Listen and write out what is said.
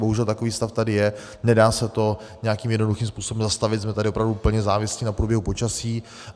Bohužel takový stav tady je, nedá se to nějakým jednoduchým způsobem zastavit, jsme tady opravdu plně závislí na průběhu počasí.